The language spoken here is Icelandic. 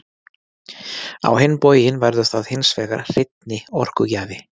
á hinn bóginn verður það hins vegar hreinni orkugjafi